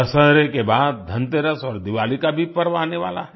दशहरे के बाद धनतेरस और दिवाली का भी पर्व आने वाला है